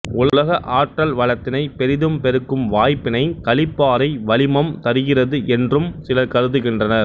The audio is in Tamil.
உலக ஆற்றல் வளத்தினைப் பெரிதும் பெருக்கும் வாய்ப்பினைக் களிப்பாறை வளிமம் தருகிறது என்றும் சிலர் கருதுகின்றனர்